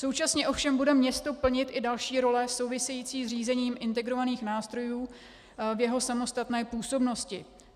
Současně ovšem bude město plnit i další role související s řízením integrovaných nástrojů v jeho samostatné působnosti.